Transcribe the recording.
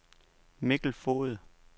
Mikkel Foged